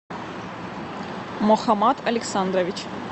мухамад александрович